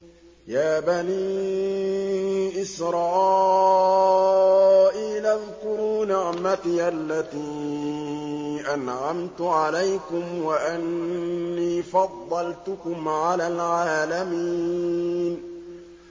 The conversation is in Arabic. يَا بَنِي إِسْرَائِيلَ اذْكُرُوا نِعْمَتِيَ الَّتِي أَنْعَمْتُ عَلَيْكُمْ وَأَنِّي فَضَّلْتُكُمْ عَلَى الْعَالَمِينَ